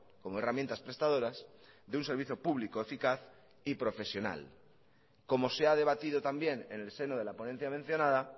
como herramientas prestadoras de un servicio público eficaz y profesional como se ha debatido también en el seno de la ponencia mencionada